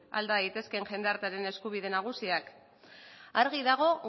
alda daitezke jendartearen eskubide nagusiak argi dago